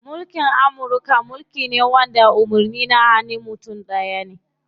Mulkin Amurka mulki ne wanda umarnin na hanun mutum ɗaya ne.